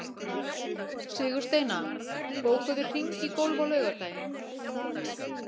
Sigursteina, bókaðu hring í golf á laugardaginn.